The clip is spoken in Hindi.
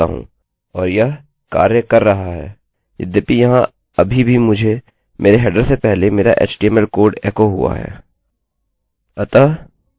अतः मैं यहाँ phpheader पर आ सकता हूँ और यह कार्य कर रहा है यद्यपि यहाँ अभी भी मुझे मेरे हेडरheader से पहले मेरा एचटीएमएलhtml कोड एको हुआ है